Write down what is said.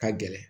Ka gɛlɛn